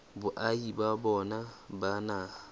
boahi ba bona ba naha